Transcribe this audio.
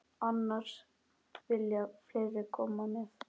Annars vilja fleiri koma með.